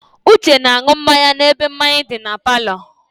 Uche na-aṅụ mmanya n'ebe mmanya di na palọ.